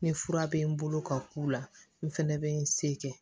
Ni fura bɛ n bolo ka k'u la n fɛnɛ bɛ n se kɛ